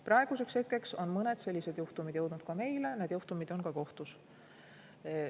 Praeguseks on mõned sellised juhtumid jõudnud ka meie ja need juhtumid on ka kohtus.